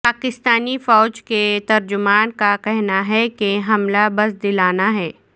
پاکستانی فوج کے ترجمان کا کہنا ہے کہ حملہ بزدلانہ ہے